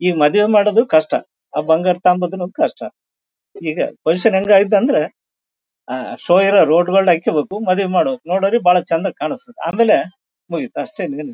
ಈ ಮದುವೆ ಮಾಡೋದು ಕಷ್ಟ ಅದ್ ಬಂಗಾರ ತಗೋಳೋದು ಕಷ್ಟ ಈಗ ಪೊಸಿಷನ್ ಹೆಂಗ್ ಐತ್ ಅಂದ್ರೆ ಅಹ್ ಶೋ ಇರೋ ರೋಲ್ಡ್ ಗೋಲ್ಡ್ ಹಾಕ್ಕುಬೇಕು ಮದುವೆ ಮಾಡಬೇಕು ನೋಡೋಕು ಬಹಳ ಚಂದ ಕಾಣಿಸುತ್ತದೆ ಆಮೇಲೆ ಮುಗಿತು ಅಷ್ಟೇ ಇನ್ನೇನು.